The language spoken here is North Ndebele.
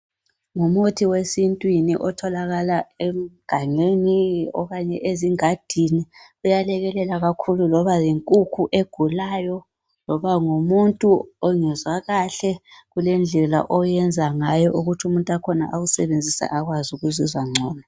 Ngumuthi wesintwini otholakala egangeni okanye ezingadini. Uyalekelela kakhulu loba yinkukhu egulayo loba ngumuntu ongezwa kahle, kulendlela oyenza ngayo ukuthi umuntu wakhona awusebenzise akwazi ukuzizwa ngcono.